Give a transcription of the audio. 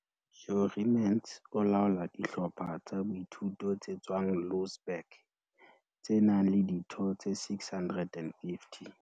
Jurie Mentz o laola dihlopha tsa boithuto tse tswang Louwsburg, tse nang le ditho tse 650.